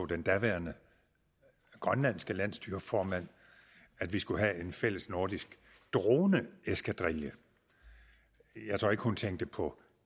den daværende grønlandske landsstyreformand at vi skulle have en fælles nordisk droneeskadrille jeg tror ikke hun tænkte på